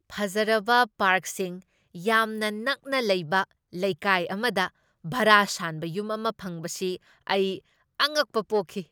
ꯐꯖꯔꯕ ꯄꯥꯔꯛꯁꯤꯡ ꯌꯥꯝꯅ ꯅꯛꯅ ꯂꯩꯕ ꯂꯩꯀꯥꯏ ꯑꯃꯗ ꯚꯥꯔꯥ ꯁꯥꯟꯕ ꯌꯨꯝ ꯑꯃ ꯐꯪꯕꯁꯤ ꯑꯩ ꯑꯉꯛꯄ ꯄꯣꯛꯈꯤ꯫